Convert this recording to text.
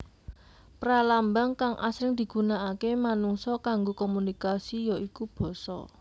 Pralambang kang asring digunaaké manungsa kanggo komunikasi ya iku basa